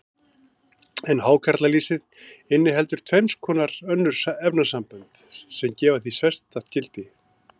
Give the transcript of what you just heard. En hákarlalýsið inniheldur tvenns konar önnur efnasambönd, sem gefa því sérstakt gildi.